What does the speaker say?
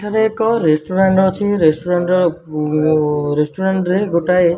ଏଠାରେ ରେସନ୍ଟୁରାଣ୍ଟ ଅଛି ରେସଟୁରାଣ୍ଟ ଓ ଉରେଷ୍ଟୁରାଣ୍ଟ ରେ ଗୋଟାଏ --